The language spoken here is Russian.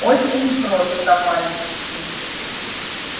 очень просто мальчики